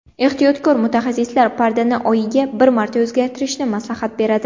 Ehtiyotkor mutaxassislar pardani oyiga bir marta o‘zgartirishni maslahat beradi.